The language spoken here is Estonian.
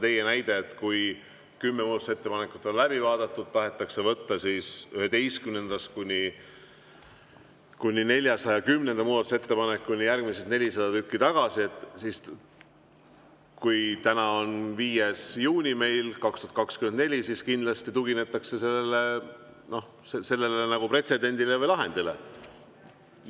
Teie näite puhul, et kui kümme muudatusettepanekut on läbi vaadatud ja järgmised 400 tükki, 11.–410. muudatusettepanek tahetakse tagasi võtta – täna on 5. juuni 2024 –, siis kindlasti tuginetakse sellele pretsedendile või lahendile.